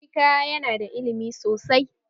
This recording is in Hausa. Chika ya nada ilimi sosai